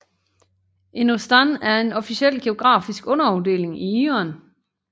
En ostan er en officiel geografisk underafdeling i Iran